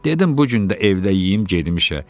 Dedim bu gün də evdə yeyim gedim işə.